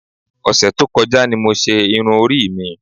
Ọ̀sẹ̀ tó kọjá ni mo ṣe irun orí mi.